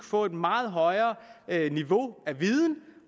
få et meget højere niveau af viden